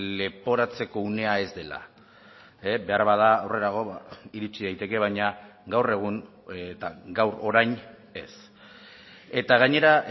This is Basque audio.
leporatzeko unea ez dela beharbada aurrerago iritsi daiteke baina gaur egun gaur orain ez eta gainera